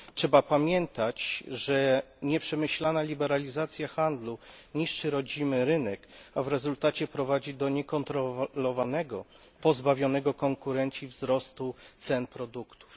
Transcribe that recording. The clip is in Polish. Trzeba pamiętać, że nieprzemyślana liberalizacja handlu niszczy rodzimy rynek, a w rezultacie prowadzi do niekontrolowanego, pozbawionego konkurencji wzrostu cen produktów.